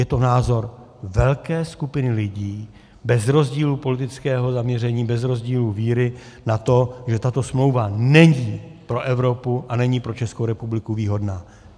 Je to názor velké skupiny lidí bez rozdílu politického zaměření, bez rozdílu víry na to, že tato smlouva není pro Evropu a není pro Českou republiku výhodná.